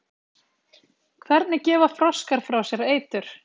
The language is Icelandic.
hvernig gefa froskar frá sér eitur